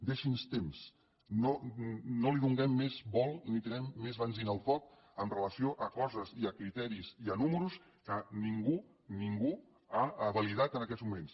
deixi’ns temps no li donem més vol ni tirem més benzina al foc amb relació a coses i a criteris i a números que ningú ningú ha validat en aquests moments